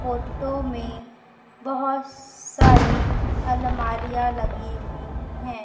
Photo में बहोत सारी अलमारियां लगी हुई है।